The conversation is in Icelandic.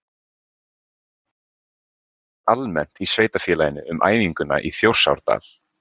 En hvað segja íbúar almennt í sveitarfélaginu um æfinguna í Þjórsárdal?